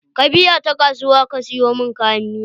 Ka bi ta kasuwa ka sayo mun kayan miya.